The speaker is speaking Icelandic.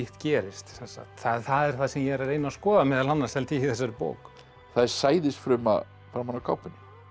gerist það er það sem ég er að reyna að skoða meðal annars í þessari bók það er sæðisfruma framan á kápunni